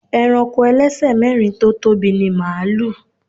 Ẹranko ẹlẹ́sẹ̀ mẹ́rin tó tóbi ni màlúù.